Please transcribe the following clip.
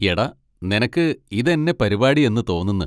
എടാ നിനക്ക് ഇതെന്നെ പരിപാടി എന്ന് തോന്നുന്ന്.